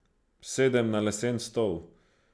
Sedem na lesen stol.